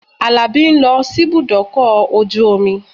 Àlàbí ń lọ síbùdókọ̀ ojú omi